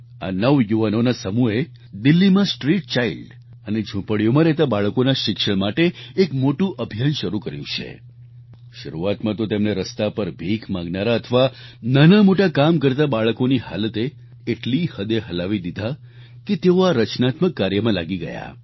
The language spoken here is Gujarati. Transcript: આ નવયુવાનોના સમૂહે દિલ્હીમાં સ્ટ્રીટ ચાઈલ્ડ અને ઝુંપડીઓમાં રહેતા બાળકોના શિક્ષણ માટે એક મોટું અભિયાન શરૂ કર્યું છે શરૂઆતમાં તો તેમને રસ્તા પર ભીખ માંગનારા અથવા નાનામોટા કામ કરતા બાળકોની હાલતે એટલી હદે હલાવી દીધા કે તેઓ આ રચનાત્મક કાર્યમાં લાગી ગયા